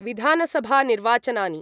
विधानसभानिर्वाचनानि